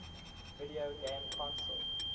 video game console